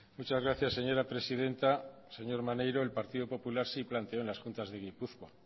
muchas gracias señora presidenta señor maneiro el partido popular sí planteó en las juntas de gipuzkoa